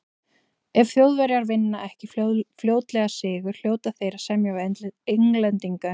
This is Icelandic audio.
Ef Þjóðverjar vinna ekki fljótlega sigur, hljóta þeir að semja við Englendinga um frið.